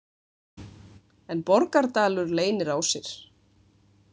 En Borgardalur leynir á sér.